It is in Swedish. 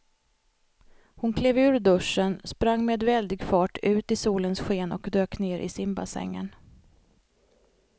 Hon klev ur duschen, sprang med väldig fart ut i solens sken och dök ner i simbassängen.